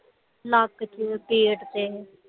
ਨੱਕ ਚ ਪੇਟ ਤੇ